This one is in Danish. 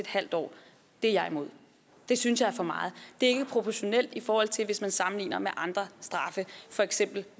halv år det er jeg imod det synes jeg er for meget det er ikke proportionalt i forhold til hvis man sammenligner med andre straffe for eksempel